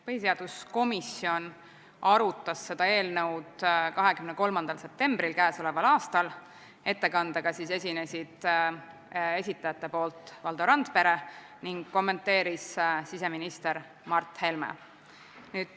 Põhiseaduskomisjon arutas seda eelnõu 23. septembril k.a. Ettekandega esines esitajate nimel Valdo Randpere ning kommenteeris siseminister Mart Helme.